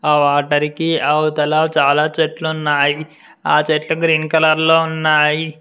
ఆ వాటర్ కి అవతల చాలా చెట్లు ఆ చెట్లు గ్రీన్ కలర్ లో ఉన్నాయి.